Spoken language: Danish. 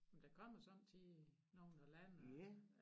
Men der kommer sommetider nogen der lander